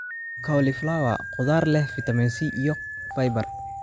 Cauliflower: Khudaar leh fiitamiin C iyo fiber.